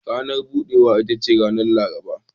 Ranar budewa ita ce ranar Laraba.